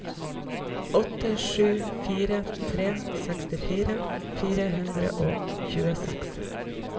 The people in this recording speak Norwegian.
åtte sju fire tre sekstifire fire hundre og tjueseks